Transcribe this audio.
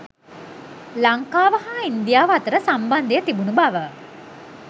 ලංකාව හා ඉන්දියාව අතර සම්බන්ධය තිබුණු බව